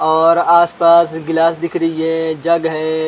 और आसपास गिलास दिख रहे हैं जग है।